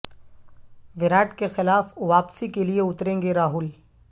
وراٹ کے خلاف واپسی کے لئے اتریں گے راہل